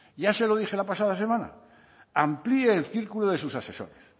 ya se lo dije la pasada semana amplíe el círculo de sus asesores